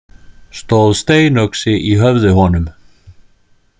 Stóð steinöxi í höfði honum.